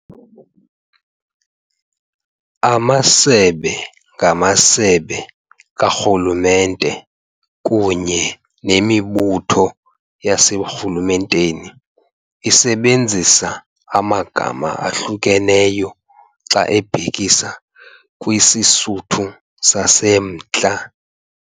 Amasebe ngamasebe karhulumente kunye nemibutho yaseburhulumenteni isebenzisa amagama ahlukeneyo xa ebhekisa kwisiSuthu saseMntla.